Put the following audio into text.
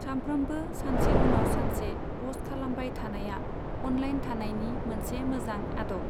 सामफ्रोमबो सानसे उनाव सानसे पस्ट खालामबाय थानाया अनलाइन थानायनि मोनसे मोजां आदब।